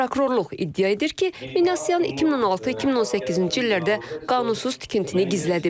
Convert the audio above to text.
Prokurorluq iddia edir ki, Minasyan 2016-2018-ci illərdə qanunsuz tikintini gizlədib.